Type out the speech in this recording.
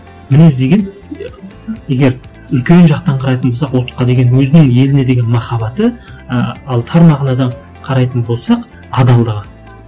мінез деген егер үлкен жақтан қарайтын болсақ ұлтқа деген өзінің еліне деген махаббаты ы ал тар мағынада қарайтын болсақ адалдығы